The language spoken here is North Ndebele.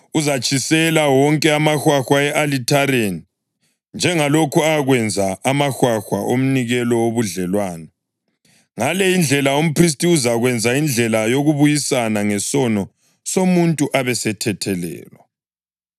Uzatshisela wonke amahwahwa e-alithareni njengalokhu akwenza amahwahwa omnikelo wobudlelwano. Ngale indlela umphristi uzakwenza indlela yokubuyisana ngesono somuntu abesethethelelwa.